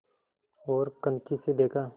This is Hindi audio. ओर कनखी से देखा